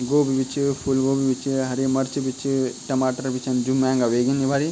गोभी बि च फुल गोभी बि च हरी मर्च बि च टमाटर बि छन जू महंगा ह्वेगीन इबरी।